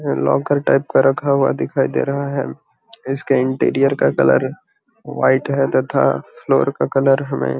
locker type का दिखाई दे रहा है इसके इंटीरियर का कलर वाइट है तथा फ्लोर का कलर है हमें --